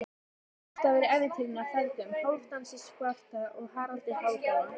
Upphafsstafur í ævintýri af feðgunum Hálfdani svarta og Haraldi hárfagra.